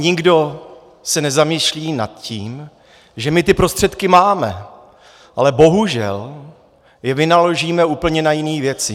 Nikdo se nezamýšlí nad tím, že my ty prostředky máme, ale bohužel je vynaložíme na úplně jiné věci.